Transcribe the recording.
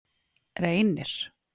Reynir